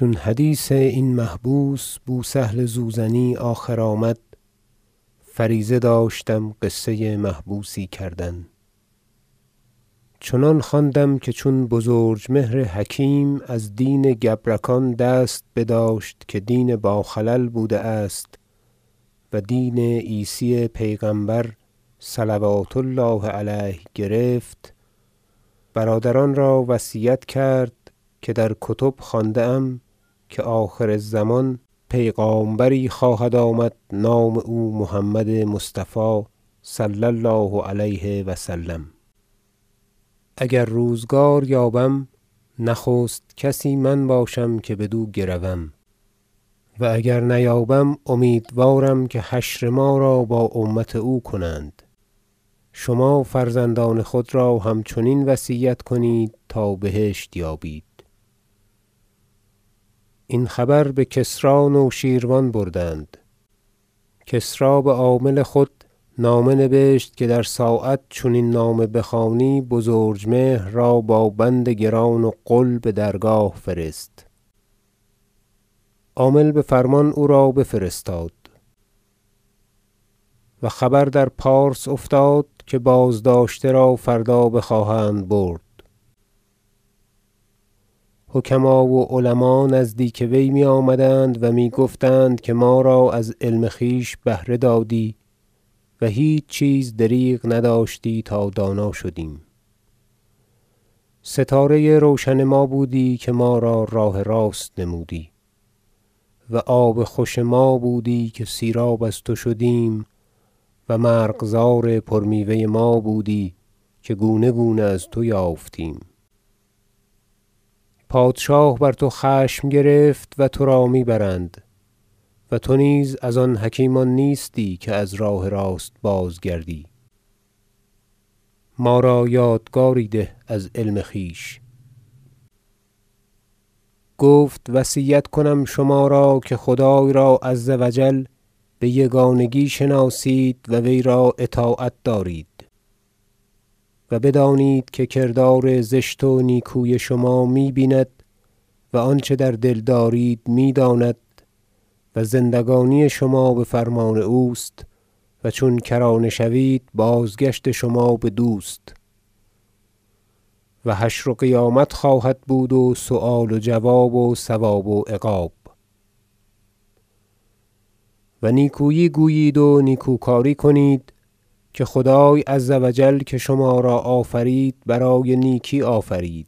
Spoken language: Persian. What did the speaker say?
چون حدیث این محبوس بوسهل زوزنی آخر آمد فریضه داشتم قصه محبوسی کردن حکایت چنان خواندم که چون بزرجمهر حکیم از دین گبرکان دست بداشت که دین با خلل بوده است و دین عیسی پیغمبر صلوات الله علیه گرفت برادران را وصیت کرد که در کتب خوانده ام که آخر الزمان پیغامبری خواهد آمد نام او محمد مصطفی صلی الله علیه و سلم اگر روزگار یابم نخست کسی من باشم که بدو گروم و اگر نیابم امیدوارم که حشر ما را با امت او کنند شما فرزندان خود را همچنین وصیت کنید تا بهشت یابید این خبر به کسری نوشیروان بردند کسری به عامل خود نامه نبشت که در ساعت چون این نامه بخوانی بزرجمهر را با بند گران و غل به درگاه فرست عامل به فرمان او را بفرستاد و خبر در پارس افتاد که بازداشته را فردا بخواهند برد حکماء و علماء نزدیک وی می آمدند و می گفتند که ما را از علم خویش بهره دادی و هیچ چیز دریغ نداشتی تا دانا شدیم ستاره روشن ما بودی که ما را راه راست نمودی و آب خوش ما بودی که سیراب از تو شدیم و مرغزار پر میوه ما بودی که گونه گونه از تو یافتیم پادشاه بر تو خشم گرفت و ترا می برند و تو نیز از آن حکیمان نیستی که از راه راست بازگردی ما را یادگاری ده از علم خویش گفت وصیت کنم شما را که خدای عز و جل به یگانگی شناسید و وی را اطاعت دارید و بدانید که کردار زشت و نیکوی شما می بیند و آنچه در دل دارید می داند و زندگانی شما به فرمان اوست و چون کرانه شوید بازگشت شما بدوست و حشر و قیامت خواهد بود و سؤال و جواب و ثواب و عقاب و نیکویی گویید و نیکو کاری کنید که خدای عز و جل که شما را آفرید برای نیکی آفرید